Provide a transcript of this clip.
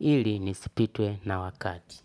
Ili nisipitwe na wakati.